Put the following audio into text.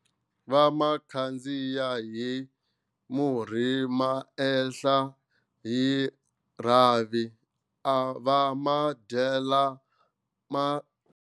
Va ma khandziya hi murhi ma ehla hi rhavi, va ma dyela.